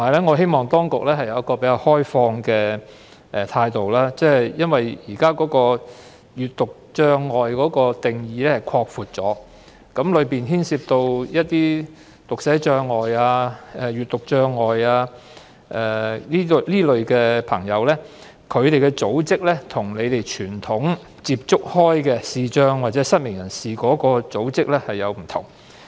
我希望當局能持較開放的態度，因為現時視力障礙的定義已經擴闊，當中涉及有讀寫障礙或閱讀障礙的人士，而他們所屬的組織與政府傳統接觸的視障或失明人士組織有所不同。